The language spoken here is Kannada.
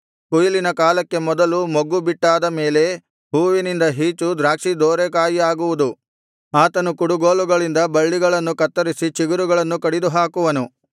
ಕೊಯ್ಲಿನ ಕಾಲಕ್ಕೆ ಮೊದಲು ಮೊಗ್ಗು ಬಿಟ್ಟಾದ ಮೇಲೆ ಹೂವಿನಿಂದ ಹೀಚು ದ್ರಾಕ್ಷಿ ದೋರೆ ಕಾಯಿಯಾಗುವಾಗ ಆತನು ಕುಡುಗೋಲುಗಳಿಂದ ಬಳ್ಳಿಗಳನ್ನು ಕತ್ತರಿಸಿ ಚಿಗುರುಗಳನ್ನು ಕಡಿದುಹಾಕುವನು